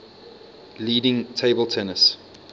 leading table tennis